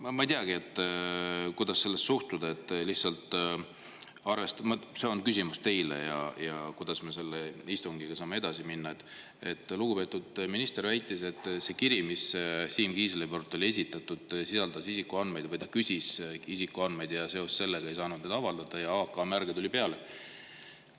Noh, ma ei teagi, kuidas sellesse suhtuda – see on küsimus teile, kuidas me selle istungiga saame edasi minna –, et lugupeetud minister väitis, et see kiri, mille Siim Kiisler, sisaldas isikuandmeid või ta küsis isikuandmeid ja seoses sellega, et neid ei saanud avaldada, tuli AK-märge peale.